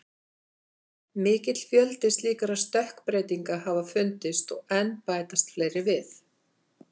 Mikill fjöldi slíkra stökkbreytinga hafa fundist og enn bætast fleiri við.